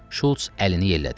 Şulç əlini yellədi.